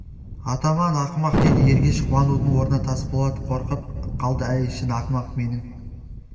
атаман ақымақ деді ергеш қуанудың орнына тасболат қорқып қалды әй шын ақымақ менің